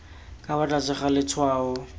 ka fa tlase ga letshwao